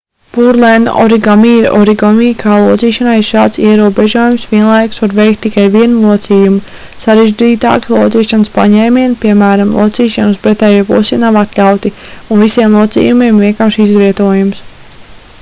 pureland origami ir origami kā locīšanai ir šāds ierobežojums vienlaikus var veikt tikai vienu locījumu sarežģītāki locīšanas paņēmieni piemēram locīšana uz pretējo pusi nav atļauti un visiem locījumiem ir vienkāršs izvietojums